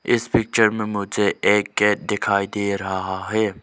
इस पिक्चर में मुझे एक गेट दिखाई दे रहा है।